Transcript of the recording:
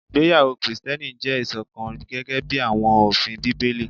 Igbeyawo Kristiẹni jẹ iṣọkan gẹgẹbi awọn ofin Bibeli